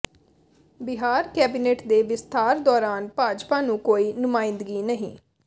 Bihar cabinet ਦੇ ਵਿਸਥਾਰ ਦੌਰਾਨ ਭਾਜਪਾ ਨੂੰ ਕੋਈ ਨੁਮਾਇੰਦਗੀ ਨਹੀਂ